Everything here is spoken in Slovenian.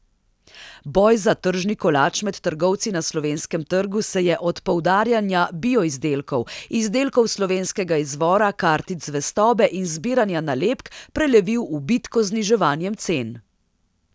Boj za tržni kolač med trgovci na slovenskem trgu se je od poudarjanja bioizdelkov, izdelkov slovenskega izvora, kartic zvestobe in zbiranja nalepk prelevil v bitko z zniževanjem cen.